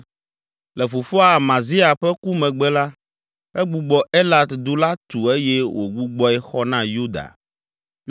Le fofoa Amazia ƒe ku megbe la, egbugbɔ Elat du la tu eye wògbugbɔe xɔ na Yuda.